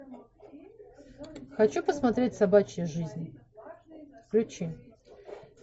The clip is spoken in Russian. хочу посмотреть собачья жизнь включи